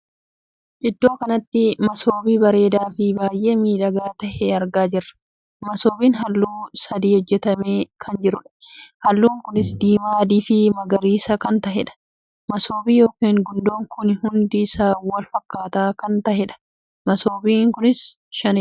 Iddoo kanatti masoobii bareedaa fi baay'ee miidhagaa tahee argaa jirra. masoobiin halluu sadii hojjetame kan jiruudha. halluun kunis diimaa, adii fi magariisa kan taheedha. masoobii ykn gundoo kun hundi isaa wal fakkaataa kan taheedha. masoobiin kun shaniidha.